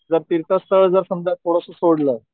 जर तीर्थ स्थळ जर समजा थोडस सोडलं